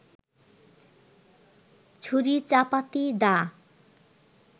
ছুরি-চাপাতি-দা